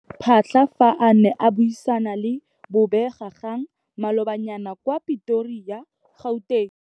Phaahla fa a ne a buisana le bobegakgang malobanyana kwa Pretoria, Gauteng.